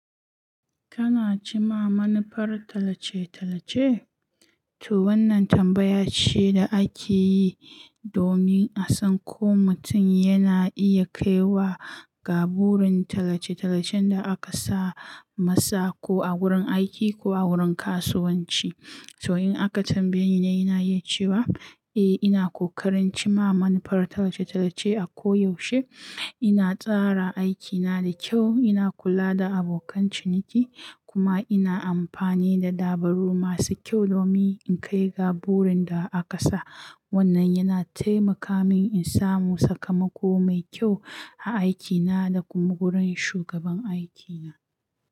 Kana ci ma manufar talace talace? To wannan tambaya ce da ake yi domin a san ko mutum yana iya kai wa ga burin talace talacen da aka sa masa ko a wurin aiki ko a wurin kasuwanci. To in aka tambaye ni, ina iya cewa, eh ina ƙoƙarin ci ma manufar talace talace a koyaushe. Ina tsara aikina da kyau, ina kula da abokan ciniki kuma ina amfani da dabaru masu kyau domin in kai ga burin da aka sa. Wannan yana taimaka min in samu sakamako mai kyau a aikina da kuma wurin shugaban aikina.